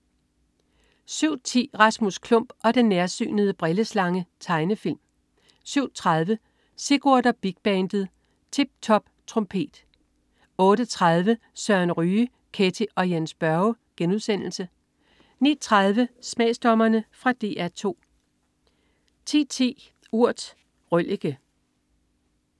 07.10 Rasmus Klump og den nærsynede brilleslange. Tegnefilm 07.30 Sigurd og Big Bandet. Tip top trompet 08.30 Søren Ryge. Ketty og Jens Børre* 09.30 Smagsdommerne. Fra DR 2 10.10 Urt. Røllike